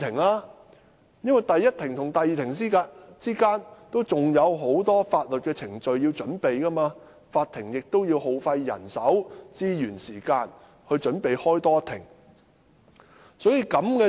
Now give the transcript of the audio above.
律師在第一庭和第二庭之間，仍有很多法律程序需要準備，而法庭亦要耗費人手、資源及時間準備多召開一庭。